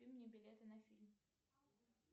купи мне билеты на фильм